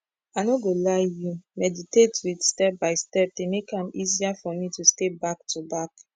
i no go lie you meditate with step by dey make am easier for me to stay back to back